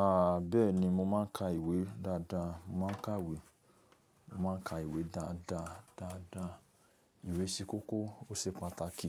A bẹ́ẹ̀ni mo máa ń ka ìwé dáadáa, mo máa ń kàwé, mo máa ń ka ìwé dáadáa, dáadáa. Ìwé ṣe kókó, ó se pàtàkì.